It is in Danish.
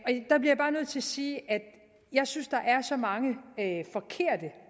sige at jeg synes der er så mange forkerte